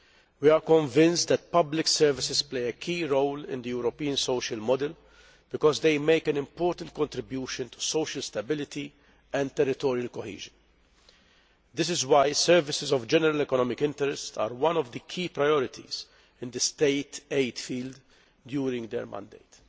We are convinced that public services play a key role in the European social model because they make an important contribution to social stability and territorial cohesion. This is why services of general economic interest are one of the key priorities in the state aid field during our mandate.